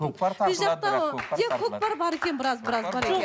көкпар тартылады көкпар бар екен біраз біраз бар екен